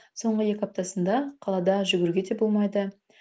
соңғы екі аптасында қалада жүгіруге де болмайды